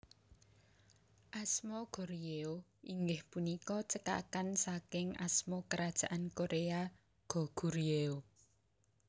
Asma Goryeo inggih punika cekakan saking asma Kerajaan Korea Goguryeo